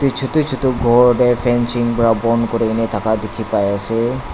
chutu chutu ghor dey fancing pra bon kurina thakia dikhi pai ase.